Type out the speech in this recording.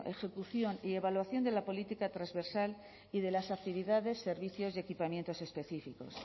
ejecución y evaluación de la política transversal y de las actividades servicios y equipamientos específicos